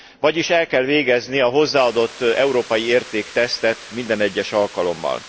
Vagyis el kell végezni a hozzáadott európai érték tesztjét minden egyes alkalommal.